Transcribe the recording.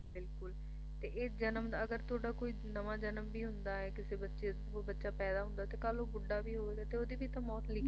ਬਿਲਕੁਲ ਤੇ ਇਸ ਜਨਮ ਦਾ ਅਗਰ ਤੁਹਾਡਾ ਕੋਈ ਨਵਾਂ ਜਨਮ ਵੀ ਹੁੰਦਾ ਏ ਕਿਸੇ ਬੱਚੇ ਦੇ thru ਬੱਚਾ ਪੈਦਾ ਕਾਲੁ ਬੁੱਢਾ ਵੀ ਹੋਊਗਾ ਤੇ ਉਹਦੀ ਵੀ ਤਾਂ ਮੌਤ ਲਿਖੀ